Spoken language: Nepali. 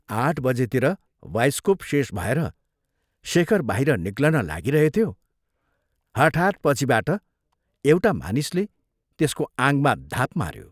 आठ बजेतिर बाइस्कोप शेष भएर शेखर बाहिर निक्लन लागिरहेथ्यो, हठात् पछिबाट एउटा मानिसले त्यसको आङमा धाप माऱ्यो।